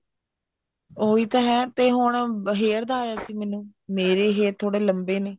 ਉਹੀ ਤਾਂ ਹੈ ਤੇ ਹੁਣ hairs ਦਾ ਆਇਆ ਸੀ ਮੈਨੂੰ ਮੇਰੇ hair ਥੋੜੇ ਲੰਬੇ ਨੇ